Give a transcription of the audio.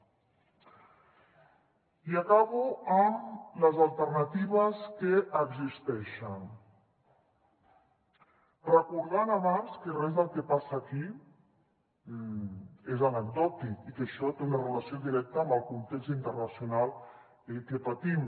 i acabo amb les alternatives que existeixen recordant abans que res del que passa aquí és anecdòtic i que això té una relació directa amb el context internacional que patim